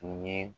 Tun ye